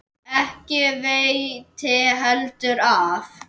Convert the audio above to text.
Ekki veitti heldur af.